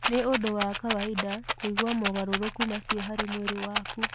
Nĩ ũndũ wa kawaida kũigua mogarũrũku macio harĩ mwĩrĩ waku.